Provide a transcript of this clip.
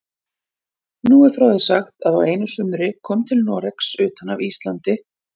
Nú er frá því sagt að á einu sumri kom til Noregs utan af Íslandi